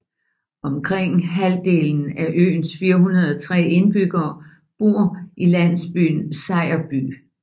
Omkring halvdelen af øens 403 indbyggere bor i landsbyen Sejerby